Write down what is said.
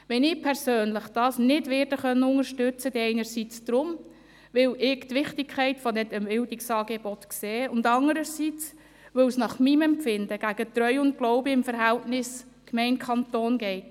Wenn ich das persönlich nicht unterstützen kann, dann einerseits deshalb, weil ich die Wichtigkeit dieser Bildungsangebote sehe, und andererseits, weil es nach meinem Empfinden gegen Treu und Glauben im Verhältnis zwischen Gemeinde und Kanton geht.